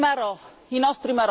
dei nostri marò.